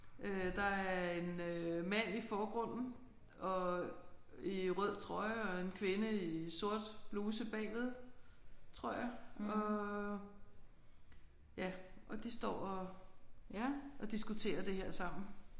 Øh der er en øh mand i forgrunden og i rød trøje og en kvinde i sort bluse bagved tror jeg og ja og de står og og diskuterer det her sammen